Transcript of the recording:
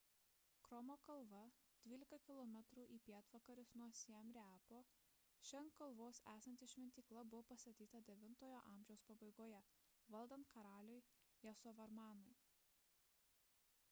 kromo kalva 12 km į pietvakarius nuo siem reapo ši ant kalvos esanti šventykla buvo pastatyta 9-ojo amžiaus pabaigoje valdant karaliui jasovarmanui